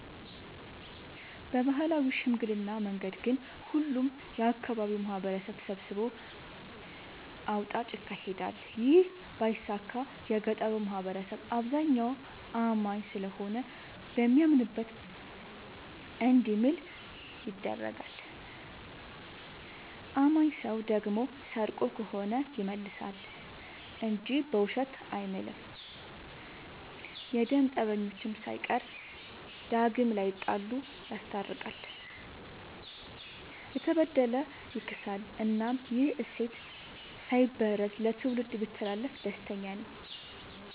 በባህላዊ ሽምግልና መንገድ ግን ሁሉም የአካባቢው ማህበረሰብ ተሰብስቦ አውጣጭ ይካሄዳል ይህ ባይሳካ የገጠሩ ማህበረሰብ አብዛኛው አማኝ ስለሆነ በሚያምንበት እንዲምል ይደረጋል። አማኝ ሰው ደግሞ ሰርቆ ከሆነ ይመልሳ እንጂ በውሸት አይምልም። የደም ፀበኞችን ሳይቀር ዳግም ላይጣሉ ይስታርቃል፤ የተበደለ ያስክሳል እናም ይህ እሴት ሳይበረዝ ለትውልድ ቢተላለፍ ደስተኛ ነኝ።